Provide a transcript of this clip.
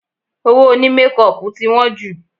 Owó òní mékọpù tí wọ́n jù